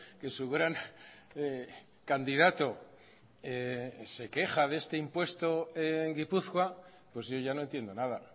que su gran candidato se queja de este impuesto en gipuzkoa pues yo ya no entiendo nada